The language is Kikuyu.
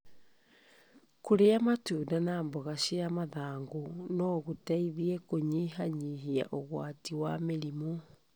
Kũrĩa matunda na mboga cia mathangũ no gũteithie kũnyihanyihia ũgwati wa mĩrimrũ.